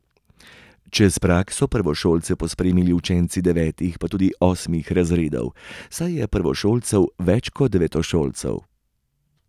Čez prag so prvošolce pospremili učenci devetih, pa tudi osmih razredov, saj je prvošolcev več kot devetošolcev.